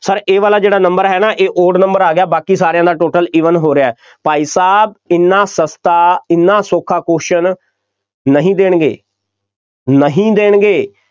Sir ਇਹ ਵਾਲਾ ਜਿਹੜਾ number ਹੈ ਨਾ ਇਹ odd number ਆ ਗਿਆ ਬਾਕੀ ਸਾਰਿਆਂ ਦਾ total even ਹੋ ਰਿਹਾ, ਭਾਈ ਸਾਹਬ ਐਨਾ ਸਸਤਾ, ਐਨਾ ਸੌਖਾ question ਨਹੀਂ ਦੇਣਗੇ, ਨਹੀਂ ਦੇਣਗੇ,